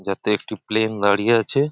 যাতে একটি প্লেন দাঁড়িয়ে আছে।